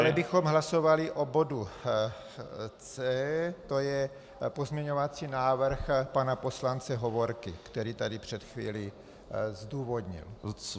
Dále bychom hlasovali o bodu C, to je pozměňovací návrh pana poslance Hovorky, který tady před chvílí zdůvodnil.